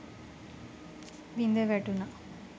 බිඳ වැටුණා.